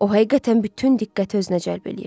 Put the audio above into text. O həqiqətən bütün diqqəti özünə cəlb eləyirdi.